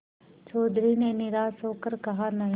चौधरी ने निराश हो कर कहानहीं